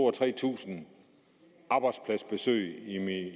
og tre tusind arbejdspladsbesøg